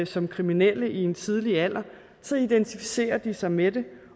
som kriminelle i en tidlig alder identificerer de sig med det